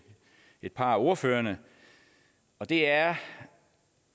et par af ordførerne og det er